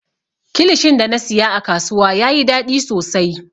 Kilishin da na siya a kasuwa yayi daɗi sosai.